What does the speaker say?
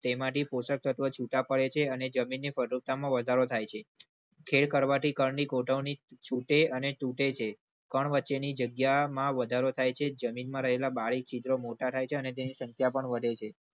તેમાંથી પોષક તત્વો છૂટાં પડે છે અને જમીનની ફળદ્રુપતામાં વધારો થાય છે. ખેલ કરવાથી કણની ગોઠવણી છૂટે અને છૂટે છે. વચ્ચેની જગ્યામાં વધારો થાય છે. જમીનમાં રહેલા બારી ચિત્રો મોટા થાય છે અને તેની સંખ્યા પણ વધે.